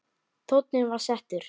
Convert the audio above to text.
Tónninn var settur.